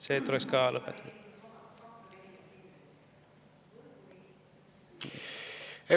See tuleks ka lõpetada.